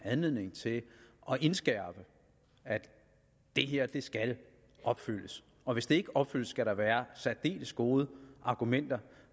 anledning til at indskærpe at det her skal opfyldes og at hvis det ikke opfyldes skal der være særdeles gode argumenter